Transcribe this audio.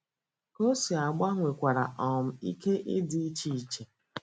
Ka o si agba nwekwara um ike ịdị iche iche